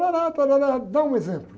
Tárárá, tárárá... Dá um exemplo.